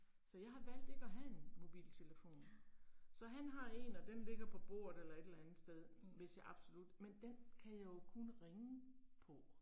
Så jeg har valgt ikke at have en mobiltelefon. Så han har en og den ligger på bordet eller et eller andet sted hvis jeg absolut, men den kan jeg jo kun ringe på